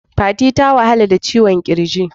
Fati ta wahala da ciwon kirji.